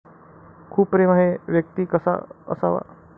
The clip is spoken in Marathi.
खूप प्रेम आहे व्यक्ती कसा असावा?